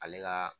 Ale ka